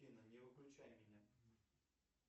афина не выключай меня